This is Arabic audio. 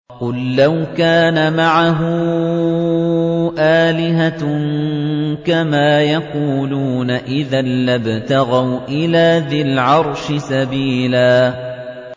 قُل لَّوْ كَانَ مَعَهُ آلِهَةٌ كَمَا يَقُولُونَ إِذًا لَّابْتَغَوْا إِلَىٰ ذِي الْعَرْشِ سَبِيلًا